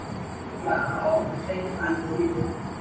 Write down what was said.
Já, segir Palli hrifinn.